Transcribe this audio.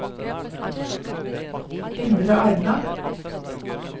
Indre Arna